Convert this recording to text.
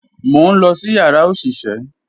Mo n lọ sí yàrá oṣiṣẹ